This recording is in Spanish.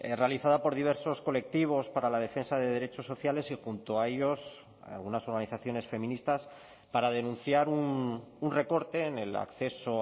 realizada por diversos colectivos para la defensa de derechos sociales y junto a ellos algunas organizaciones feministas para denunciar un recorte en el acceso